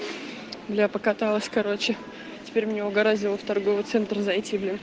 я покаталась короче теперь меня угораздило в торговый центр зайти блин